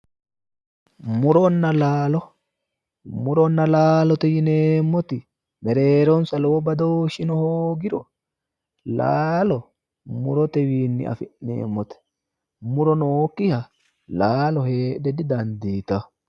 Muronna laalo. Muronna laalo yineemmoti mereeronsa lowo badooshshino hoogiro laalo murote wiinni afi'neemmote. muro nookki laalo heedhe didandiitanno.